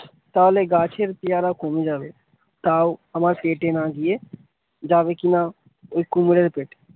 তাহলে গাছের পেয়ারা কমে যাবে তাও আমার পেটে না গিয়ে যাবে কিনা এই কুমিরের পেটে।